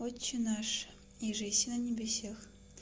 отче наш иже еси на небеси